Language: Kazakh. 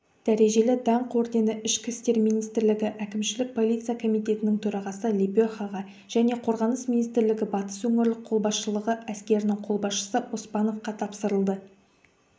дәрежелі даңқ ордені ішкі істер министрлігі әкімшілік полиция комитетінің төрағасы лепехаға және қорғаныс министрлігі батыс өңірлік қолбасшылығы әскерінің қолбасшысы оспановқа тапсырылды